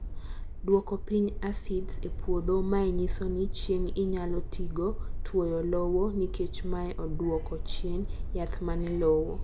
duoko piny asids e puodho, mae nyiso ni chieng inyalo ti go tuoyo lowo nikeche mae duoko chien jaath mane lowo